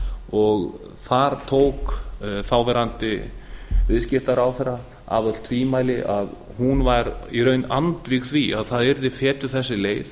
og þar tók þáv viðskiptaráðherra af öll tvímæli að hún var í raun andvíg því að það yrði fetuð þessi leið